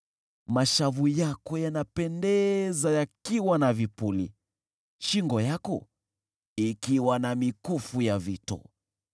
Mashavu yako yanapendeza yakiwa na vipuli, shingo yako ikiwa na mikufu ya vito.